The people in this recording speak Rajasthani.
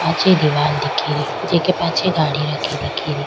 पाछे दीवाल दिखे री जेके पाछे गाड़ी रखी दिखे री।